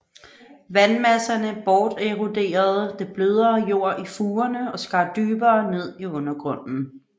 Vandmasserne borteroderede det blødere jord i fugerne og skar dybere ned i undergrunden